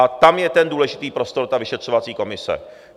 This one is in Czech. A tam je ten důležitý prostor, ta vyšetřovací komise.